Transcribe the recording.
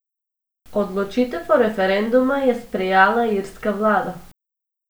Odločitev o referenduma je sprejala irska vlada.